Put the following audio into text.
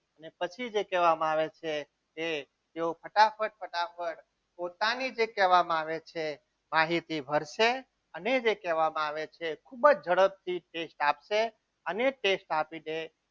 પછી જે કહેવામાં આવે છે કે તેઓ ફટાફટ પોતાની જે કહેવામાં આવે છે માહિતી ભરશે અને જે કહેવામાં આવે છે ખૂબ જ ઝડપથી test આપશે અને test આપી દે